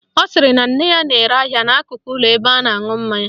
Ọ sịrị na nne ya na-ere ahịa n'akụkụ ụlọ ebe a na-aṅụ mmanya